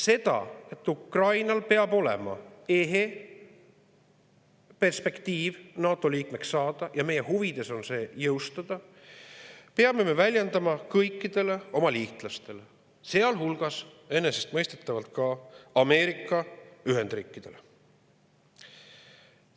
Seda, et Ukrainal peab olema ehe perspektiiv NATO liikmeks saada – ja meie huvides on see jõustada –, peame me väljendama kõikidele oma liitlastele, sealhulgas enesestmõistetavalt Ameerika Ühendriikidele.